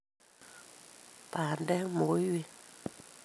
bandek , mogoiywet